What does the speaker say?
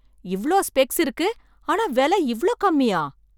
இவ்ளோ ஸ்பெக்ஸ் இருக்கு, ஆனா விலை இவ்ளோ கம்மியா!